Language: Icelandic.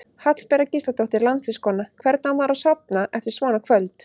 Hallbera Gísladóttir landsliðskona: Hvernig á maður að sofna eftir svona kvöld?